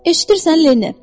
Eşidirsən Leni?